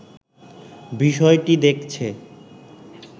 বিষয়টি দেখছে